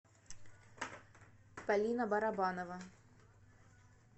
полина барабанова